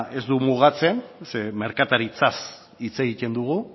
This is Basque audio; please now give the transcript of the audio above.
ez du mugatzen zeren merkataritzaz hitz egiten dugu